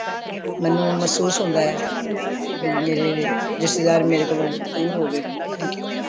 ਮੈਨੂੰ ਮਹਿਸੂਸ ਹੁੰਦਾ ਬਇ ਮੇਰੇ ਰਿਸ਼ਤੇਦਾਰ ਮੇਰੇ ਕੋਲੋਂ ਦੂਰ ਹੋ ਗਏ ਨੇ ਪਤਾ ਨਹੀਂ ਕਿਓਂ